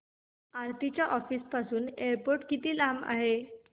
आरती च्या ऑफिस पासून एअरपोर्ट किती लांब आहे